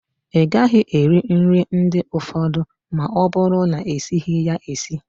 Ịgaghị eri nri ndị ụfọdụ ma ọ bụrụ na-esighi ya esi